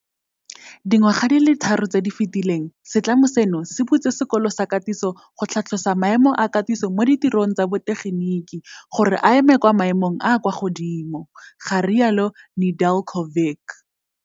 Dingwaga di le tharo tse di fetileng, setlamo seno se butse sekolo sa katiso go tlhatlosa maemo a katiso mo ditirong tsa botegeniki gore a eme kwa maemong a a kwa godimo, ga rialo Nedeljkovic.